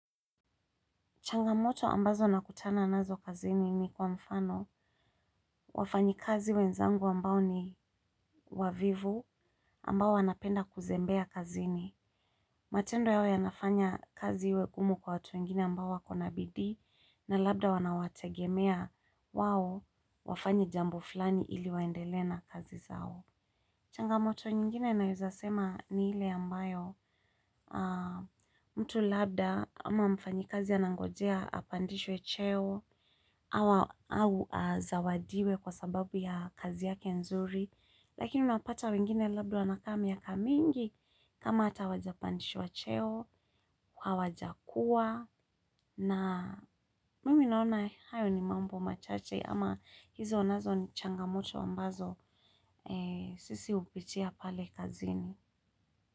Changamoto ambazo nakutana nazo kazini ni kwa mfano wafanyi kazi wenzangu ambao ni wavivu ambao wanapenda kuzembea kazini. Matendo yao yanafanya kazi iwe ngumu kwa watu wengine ambao wakona bidii na labda wanawategemea wao wafanye jambo fulani ili waendele na kazi zao. Changamoto nyingine naeza sema ni hile ambayo mtu labda ama mfanyikazi anangojea apandishwe cheo au azawadiwe kwa sababu ya kazi yake nzuri. Lakini unapata wengine labda wanakaa miaka mingi. Kama hata hawajapandishwa cheo, hawajakuwa. Na mimi naona hayo ni mambo machache. Ama hizo nazo ni changamoto ambazo sisi hupitia pale kazini.